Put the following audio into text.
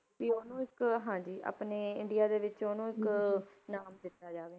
ਵੀ ਉਹਨੂੰ ਇੱਕ ਹਾਂਜੀ ਆਪਣੇ ਇੰਡੀਆ ਦੇ ਵਿੱਚ ਉਹਨੂੰ ਇੱਕ ਨਾਮ ਦਿੱਤਾ ਜਾਵੇ।